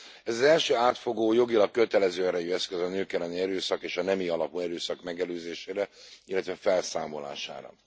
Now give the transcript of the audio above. Ez az első átfogó, jogilag kötelező erejű eszköz a nők elleni erőszak és a nemi alapú erőszak megelőzésére, illetve felszámolására.